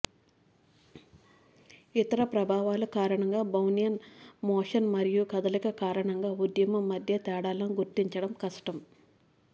ఇతర ప్రభావాలు కారణంగా బ్రౌన్యన్ మోషన్ మరియు కదలిక కారణంగా ఉద్యమం మధ్య తేడాలను గుర్తించడం కష్టం